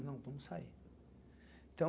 Não, vamos sair.